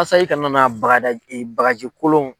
i kana na bagada bagaji kolon